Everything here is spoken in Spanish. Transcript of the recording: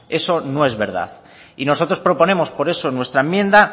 eso no es verdad y nosotros proponemos por eso nuestra enmienda